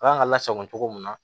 A kan ka lasago cogo mun na